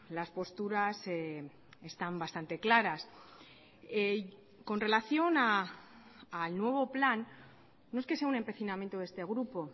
las posturas están bastante claras con relación al nuevo plan no es que sea un empecinamiento de este grupo